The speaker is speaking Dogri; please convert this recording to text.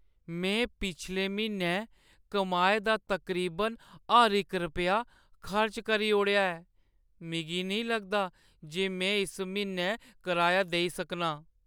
में पिछले म्हीनै कमाए दा तकरीबन हर इक रपेआऽ खर्च करी ओड़ेआ ऐ। मिगी नेईं लगदा जे में इस म्हीनै कराया देई सकनां।